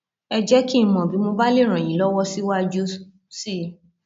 ẹ jẹ kí n mọ bí mo bá lè ràn yín lọwọ síwájú sí i